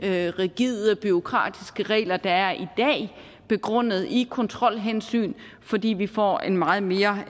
rigide og bureaukratiske regler der er i dag begrundet i kontrolhensyn fordi vi får en meget mere